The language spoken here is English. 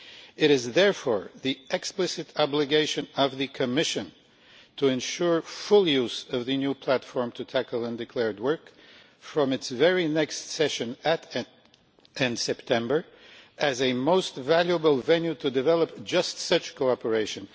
It is therefore the explicit obligation of the Commission to ensure full use of the new Platform to tackle undeclared work from its very next session in September, as a most valuable venue to develop just such cooperation.